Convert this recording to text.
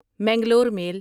Mangalore میل